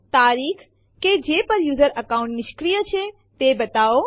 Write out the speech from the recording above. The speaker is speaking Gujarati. તારીખ કે જે પર યુઝર અકાઉન્ટ નિષ્ક્રિય છે તે બતાવો